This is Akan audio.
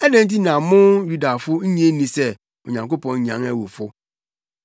Adɛn nti na mo Yudafo nnye nni sɛ Onyankopɔn nyan awufo?